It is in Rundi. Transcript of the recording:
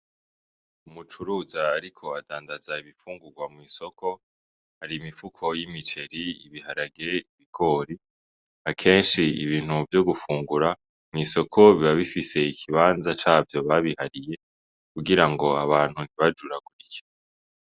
Umucuruza ariko adandaza ibifungurwa mw'isoko ar'imifuko y'imiceri, ibiharage, ibigori, kenshi ibintu vyo gufungurwa mw'isoko biba bifise ikibanza cavyo babihariye kugira ngo abantu ntibajuragurike.